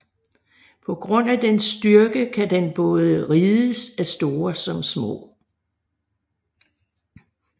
På grund af dens styrke kan den både rides af store som små